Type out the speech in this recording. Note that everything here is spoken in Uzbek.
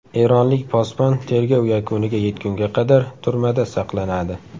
Eronlik posbon tergov yakuniga yetgunga qadar turmada saqlanadi.